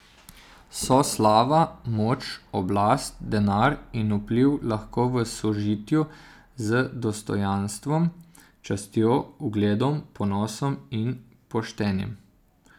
So slava, moč, oblast, denar in vpliv lahko v sožitju z dostojanstvom, častjo, ugledom, ponosom in poštenjem?